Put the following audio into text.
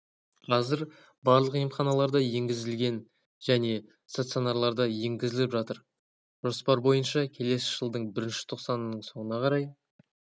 қазір барлық емханаларда енгізәілген жәнеде стационарларда енгізіліп жатыр жоспар бойынша келесі жылдың бірінші тоқсанының соңына қарай